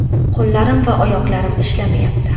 Qo‘llarim va oyoqlarim ishlamayapti.